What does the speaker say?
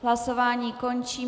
Hlasování končím.